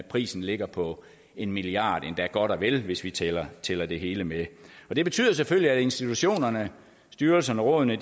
prisen ligger på en milliard kroner endda godt og vel hvis vi tæller tæller det hele med det betyder selvfølgelig at institutionerne styrelserne rådene